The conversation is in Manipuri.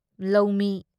ꯂꯧꯃꯤ